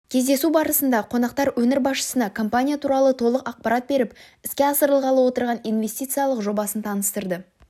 кездесу барысында қонақтар өңір басшысына компания туралы толық ақпарат беріп іске асырылғалы отырған инвестициялық жобасын таныстырды